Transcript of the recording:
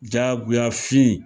Jagoya fin.